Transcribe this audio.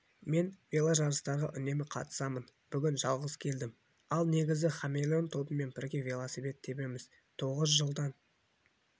мен веложарыстарға үнемі қатысамын бүгін жалғыз келдім ал негізі хамелеон тобымен бірге велосипед тебеміз тоғыз жылдан